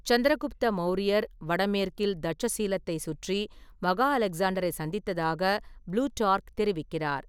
சந்திரகுப்த மௌரியர், வடமேற்கில் தட்சசீலத்தை சுற்றி, மகா அலெக்ஸாண்டரை சந்தித்ததாக ப்ளூடார்க் தெரிவிக்கிறார்.